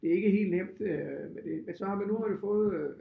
Det er ikke helt nemt øh med det men så men nu det har man fået øh